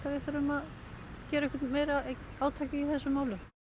gera eitthvað meira átak í þessum málum